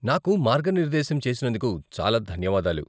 నాకు మార్గనిర్దేశం చేసినందుకు చాలా ధన్యవాదాలు.